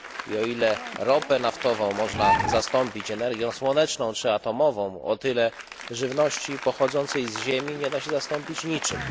O ile ropę naftową można zastąpić energią słoneczną czy atomową, o tyle żywności pochodzącej z ziemi nie da się zastąpić niczym.